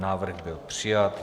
Návrh byl přijat.